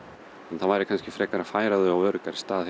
það væri kannski frekar að færa þau á öruggari stað